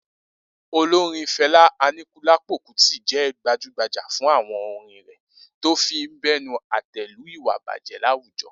Olorin Fẹlá Aníkúlápò Kútì jẹ́ gbajúgbajà fún àwọn orin rẹ̀ tó fi ń bẹnu àtẹ́ lu ìwà ìbàjẹ́ láwùjọ.